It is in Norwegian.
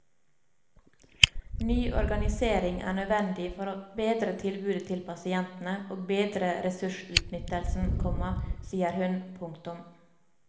Ny organisering er nødvendig for å bedre tilbudet til pasientene og bedre ressursutnyttelsen, komma sier hun. punktum